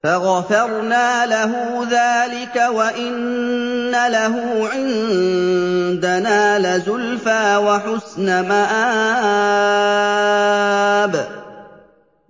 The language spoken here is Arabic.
فَغَفَرْنَا لَهُ ذَٰلِكَ ۖ وَإِنَّ لَهُ عِندَنَا لَزُلْفَىٰ وَحُسْنَ مَآبٍ